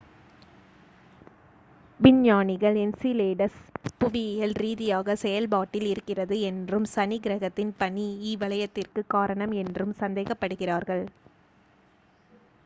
விஞ்ஞானிகள் என்சிலேடஸ் புவியியல் ரீதியாக செயல் பாட்டில் இருக்கிறது என்றும் சனி கிரகத்தின் பனி இ வளையத்திற்கு காரணம் என்றும் சந்தேகப் படுகிறார்கள்